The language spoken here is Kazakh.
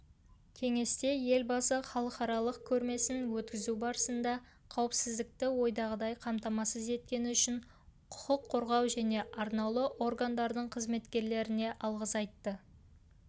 кеңесте елбасы халықаралық көрмесін өткізу барысында қауіпсіздікті ойдағыдай қамтамасыз еткені үшін құқық қорғау және арнаулы органдардың қызметкерлеріне алғыс айтты